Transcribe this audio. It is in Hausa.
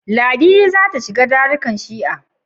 Ladidi za ta shiga darikan shi'a